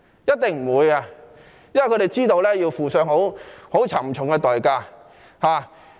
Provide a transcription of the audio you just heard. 一定沒有，因為他們知道這是要付上沉重代價的。